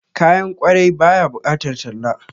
Kayan kwarai ba ya bukatar talla